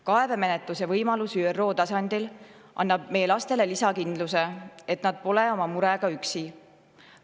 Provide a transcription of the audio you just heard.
Kaebemenetluse võimalus ÜRO tasandil annab meie lastele lisakindluse, et nad pole oma murega üksi.